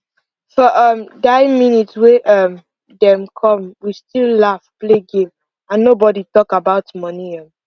for um die minute wey um dem come we still laugh play game and nobody talk about money um